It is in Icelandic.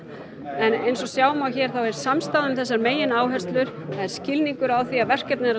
en eins og sjá má hér þá er samstaða um þessar megináherslur það er skilningur á því að verkefnið er að